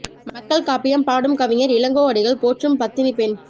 மக்கள் காப்பியம் பாடும் கவிஞர் இளங்கோ அடிகள் போற்றும் பத்தினிப் பெண்